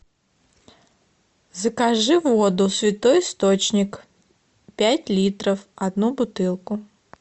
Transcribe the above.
закажи воду святой источник пять литров одну бутылку